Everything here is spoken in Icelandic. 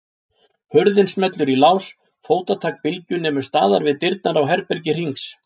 Hurðin smellur í lás, fótatak Bylgju nemur staðar við dyrnar á herbergi Hrings.